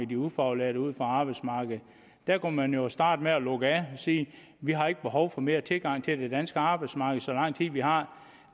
de ufaglærte ud af arbejdsmarkedet der kunne man jo starte med at lukke af og sige vi har ikke behov for mere tilgang til det danske arbejdsmarked så lang tid vi har